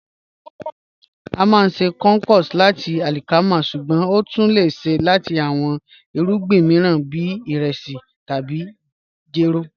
A máá n ṣè couscous lati alikama, ṣùgbọ́n o tún lẹ̀ ṣè lati awọn irugbin miiran bí iresi tabi jẹ́rò